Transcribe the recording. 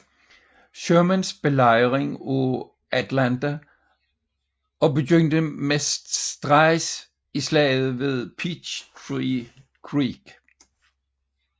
Shermans belejring af Atlanta og begyndte næsten straks i slaget ved Peachtree Creek